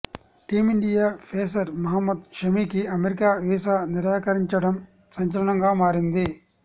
team India pacer Mohammed షమీకి America visa నిరాకరించడం సంచలనంగా మారింది